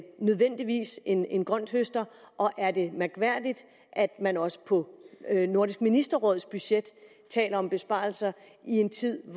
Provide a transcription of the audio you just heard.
nødvendigvis en en grønthøster og er det mærkværdigt at man også på nordisk ministerråds budget taler om besparelser i en tid